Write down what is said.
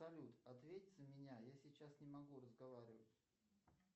салют ответь за меня я сейчас не могу разговаривать